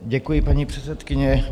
Děkuji, paní předsedkyně.